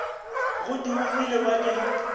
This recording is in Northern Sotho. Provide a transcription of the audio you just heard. ge di omile ba di